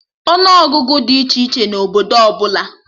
Ọnụ Ọgụgụ dị iche iche na obodo ọbụla